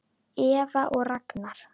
Eva og Ragnar.